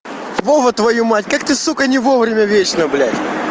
вова твою мать как ты сука не вовремя вечно блять